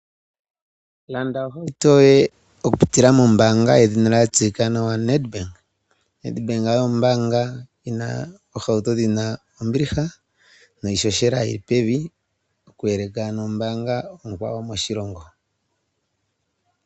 Landa ohauto yoye nombaanga yoNEDBANK